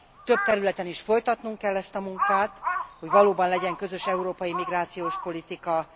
Több területen is folytatnunk kell ezt a munkát, hogy valóban legyen közös európai migrációs politika.